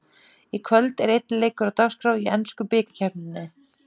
Í kvöld er einn leikur á dagskrá í ensku bikarkeppninni.